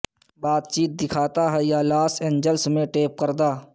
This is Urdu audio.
بات چیت دکھاتا ہے یا لاس اینجلس میں ٹیپ کردہ